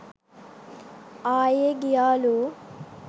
ආයේ ගියාලු